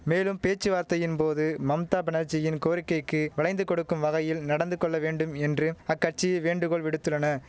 மேலும் பேச்சுவார்த்தையின் போது மம்தா பனர்ஜியின் கோரிக்கைக்கு வளைந்து கொடுக்கும் வகையில் நடந்து கொள்ள வேண்டும் என்றும் அக்கட்சி வேண்டுகோள் விடுத்துள்ளன